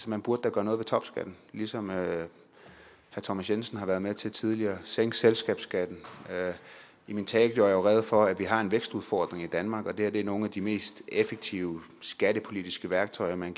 man burde da gøre noget ved topskatten ligesom herre thomas jensen har været med til tidligere og sænke selskabsskatten i min tale gjorde jeg jo rede for at vi har en vækstudfordring i danmark og det her er nogle af de mest effektive skattepolitiske værktøjer man